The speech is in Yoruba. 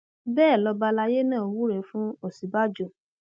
bẹẹ lọba àlàyé náà wúrẹ fún òsínbàjò